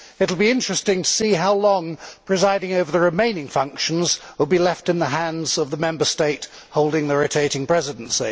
It will be interesting to see how long presiding over the remaining functions will be left in the hands of the Member State holding the rotating presidency.